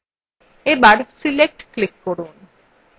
এবার select click করুন